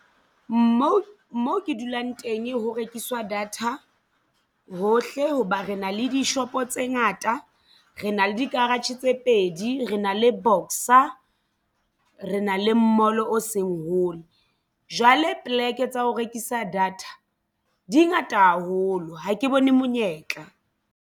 Moo mo ke dulang teng ho rekiswa data hohle. Hoba re na le dishopo tse ngata re na le di-garage tse pedi re na le bona Boxer re na le mall o seng hole jwale poleke tsa ho rekisa data dingata haholo ha ke bone monyetla.